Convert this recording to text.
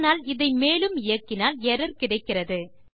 ஆனால் இதை மேலும் இயக்கினால் எர்ரர் கிடைக்கிறது